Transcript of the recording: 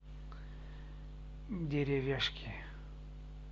деревяшки